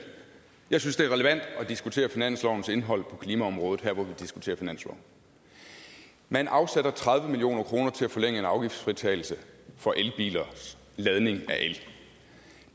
jeg synes det er relevant at diskutere finanslovens indhold på klimaområdet nu hvor vi diskuterer finansloven man afsætter tredive million kroner til at forlænge en afgiftsfritagelse for elbilers ladning af el